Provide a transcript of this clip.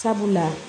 Sabula